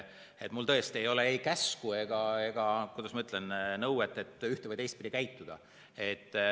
Mul tõesti ei ole ei käsku ega, kuidas ma ütlen, nõuet ühte‑ või teistpidi käituda.